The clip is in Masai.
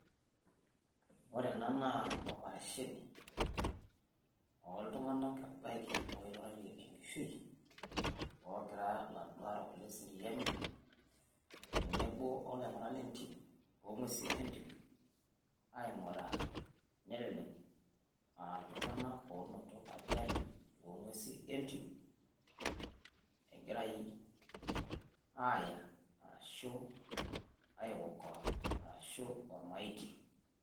Ore ena naa operationi ooltung'anak ebaiki oiturraitie enkishui oogira iladuo aarrok leseriani tenebo olaing'urak le entim, oo ng'uesin entim aing'uraa nelelek aa iltung'anak oonoto ajali too ng'uesi entim egirai aaya arashu ai okoa arashu ormaiti.